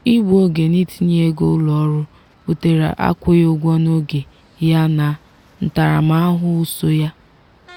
igbu oge n’itinye ego ụlọọrụ butere akwụghị ụgwọ n’oge ya na ntaramahụhụ so ya.